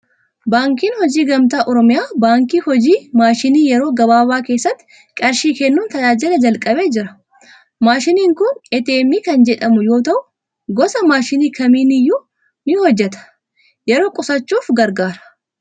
Baankiin Hojii Gamtaa Oromiyaa baankii hojii maashinii yeroo gabaabaa keessatti qarshii kennuun tajaajila jalqabee jira. Maashiniin kun ATM kan jedhamu yoo ta'u, gosa maashinii kamiin iyyuu ni hojjeta. Yeroo qusachuuf gargaara.